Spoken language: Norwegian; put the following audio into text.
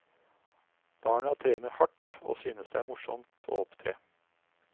Barna trener hardt og synes det er morsomt å opptre.